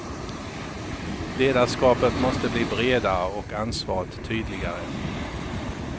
Ledarskapet måste bli bredare och ansvaret tydligare.